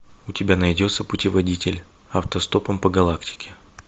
у тебя найдется путеводитель автостопом по галактике